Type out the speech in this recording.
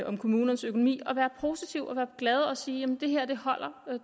om kommunernes økonomi og være positiv og glad og sige det her holder